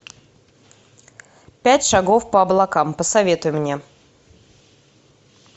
пять шагов по облакам посоветуй мне